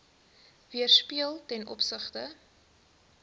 weerspieël ten opsigte